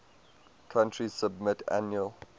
country submit annual